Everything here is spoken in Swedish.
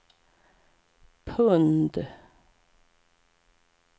pund